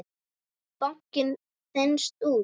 Báknið þenst út.